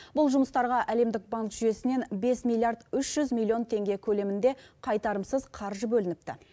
бұл жұмыстарға әлемдік банк жүйесінен бес миллиард үш жүз миллион теңге көлемінде қайтарымсыз қаржы бөлініпті